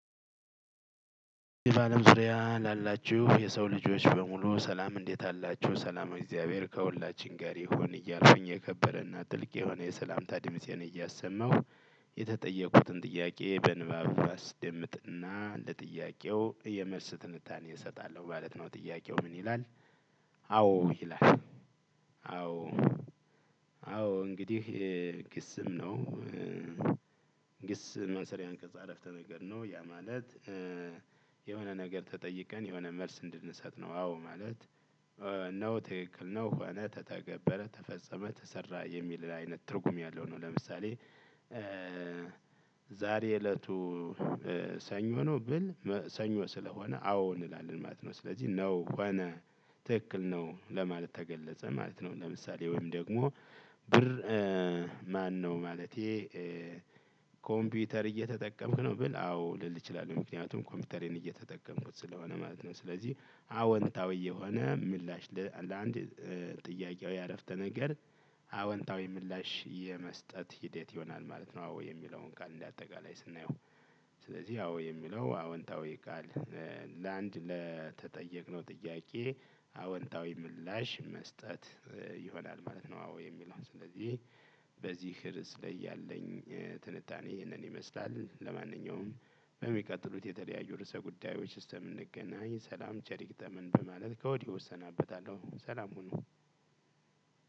በአለም ዙሪያ ላላችሁ የሰው ልጆች በሙሉ ሰላም እንዴት አላችሁ ሰላሙ እግዚአብሔር ከሁላችን ጋር ይሁን እያልኩኝ የከበረና ጥልቅ የሆነ የሰላምታ ድምፄን እያሰማሁ የተጠየቁትን ጥያቄ በንባብ አስደምጥና ለጥያቄው የመልስ ትንታኔ እሰጣለሁ ማለት ነው። ጥያቄው ምን ይላል? አዎ ይላል አዎ አዎ እንግዲህ የግስም ነው። ግስ ማሰሪያ አንቀጽ አራፍቴ ነገር ነው ያ ማለት። የሆነ ነገር ተጠይቀን የሆነ መልስ እንድንሰጥ ነው። አዎ ማለት ነው። ትክክል ነው ሆነ ተተገበረ ተፈጸመ ተሰራ የሚል አይነት ትርጉም ያለው ነው። ለምሳሌ። ዛሬ እለቱ ሰኞ ነው ብል ሰኞ ስለሆነ አዎ እንላለን ማለት ነው። ስለዚህ ነው ሆነ ትክክል ነው። ለማለት ተገለጸ ማለት ነው። ለምሳሌ ወይም ደግሞ ብር ማነው? ማለቴ ኮምፒውተር እየተጠቀምክ ነው ብል አዎ ልል እችላለሁ ምክንያቱም ኮምፒውተርን እየተጠቀምኩት ስለሆነ ማለት ነው። ስለዚህ አወንታዊ የሆነ ምላሽ ለአንድ ጥያቄው ያረፍተ ነገር አወንታዊ ምላሽ የመስጠት ሂደት ይሆናል ማለት ነው። አዎ የሚለውን ቃል እንደ አጠቃላይ ስናየው። ስለዚህ አዎ የሚለው አዎንታዊ ቃል። ለአንድ ለተጠየቅነው ጥያቄ አወንታዊ ምላሽ መስጠት ይሆናል ማለት ነው። አዎ የሚለው ስለዚህ በዚህ ርዕስ ላይ ያለኝ ትንታኔ ይህንን ይመስላል። ለማንኛውም በሚቀጥሉት የተለያዩ ርዕሰ ጉዳዮች እስከምገናኝ ሰላም ቸር ይግጠመን በማለት ከወዲህ እሰናበታለሁ። ሰላም ሁኑ።